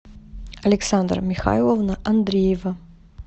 александра михайловна андреева